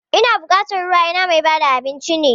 Muna bukatar ruwa ina mai bada abinci ne?